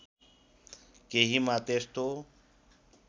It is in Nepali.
केहीमा त्यस्तो